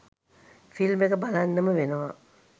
film එක බලන්නම වෙනවා